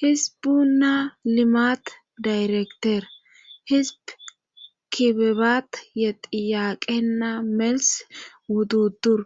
hisbunna limat dayrekter hisb kibebat yexiyaaqenna mels wuddudur